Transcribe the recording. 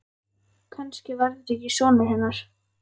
Kannski var þetta ekki sonur hennar.